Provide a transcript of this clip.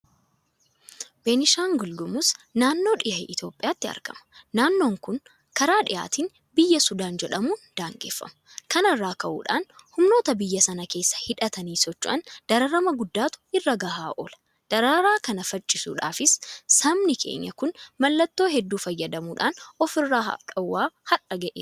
Beenishaangul Gumuz naannoo dhiha Itoophiyaatti argama. Naannoon kun karaa dhhaatiin Biyya sudaan jedhamuun daangeffama. Kana irraa ka'uudhaan humnoota biyya sana keessa hidhatanii socho'aniin dararama guddaatu irra gahaa oola. Dararaa kana faccifachuudhaafis sabni keenya kun maloota hedduu fayyadamuudhaan ofirraa dhoowwaa har'a gaheera.